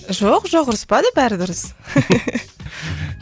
жоқ жоқ ұрыспады бәрі дұрыс